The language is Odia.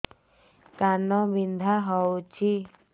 କାନ ବିନ୍ଧା ହଉଛି